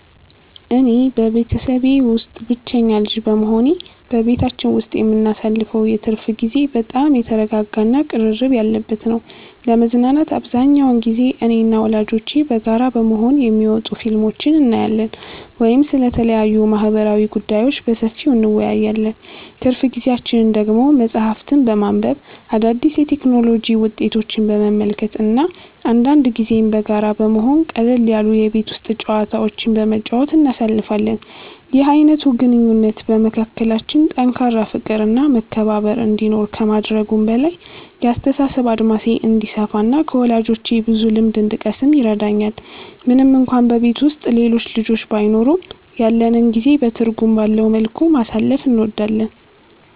እኔ በቤተሰቤ ውስጥ ብቸኛ ልጅ በመሆኔ፣ በቤታችን ውስጥ የምናሳልፈው የትርፍ ጊዜ በጣም የተረጋጋ እና ቅርርብ ያለበት ነው። ለመዝናናት አብዛኛውን ጊዜ እኔና ወላጆቼ በጋራ በመሆን የሚወጡ ፊልሞችን እናያለን ወይም ስለተለያዩ ማህበራዊ ጉዳዮች በሰፊው እንወያያለን። ትርፍ ጊዜያችንን ደግሞ መጽሐፍትን በማንበብ፣ አዳዲስ የቴክኖሎጂ ውጤቶችን በመመልከት እና አንዳንድ ጊዜም በጋራ በመሆን ቀለል ያሉ የቤት ውስጥ ጨዋታዎችን በመጫወት እናሳልፋለን። ይህ አይነቱ ግንኙነት በመካከላችን ጠንካራ ፍቅር እና መከባበር እንዲኖር ከማድረጉም በላይ፣ የአስተሳሰብ አድማሴ እንዲሰፋ እና ከወላጆቼ ብዙ ልምድ እንድቀስም ይረዳኛል። ምንም እንኳን በቤት ውስጥ ሌሎች ልጆች ባይኖሩም፣ ያለንን ጊዜ በትርጉም ባለው መልኩ ማሳለፍ እንወዳለን።